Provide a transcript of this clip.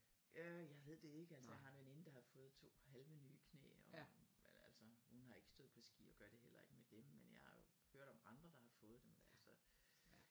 Ja jeg ved det ikke altså jeg har veninde der har fået to halvenye knæ og eller altså hun har ikke stået på ski og gør det heller ikke med dem men jeg har hørt om andre der har fået dem så